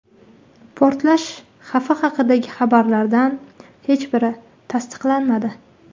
Portlash xavfi haqidagi xabarlardan hech biri tasdiqlanmadi.